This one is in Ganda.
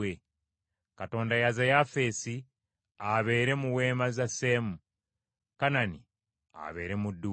Katonda yaza Yafeesi, abeere mu weema za Seemu, Kanani abeere muddu we.